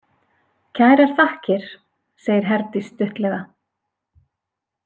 Kærar þakkir, segir Herdís stuttlega.